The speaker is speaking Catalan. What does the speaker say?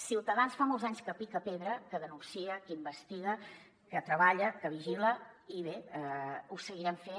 ciutadans fa molts anys que pica pedra que denuncia que investiga que treballa que vigila i bé ho seguirem fent